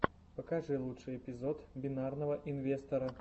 покажи лучший эпизод бинарного инвестора